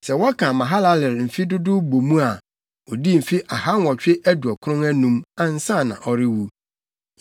Sɛ wɔka Mahalalel mfe dodow bɔ mu a, odii mfe ahanwɔtwe aduɔkron anum, ansa na ɔrewu.